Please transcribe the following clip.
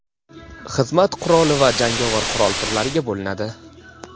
xizmat quroli va jangovar qurol turlariga bo‘linadi.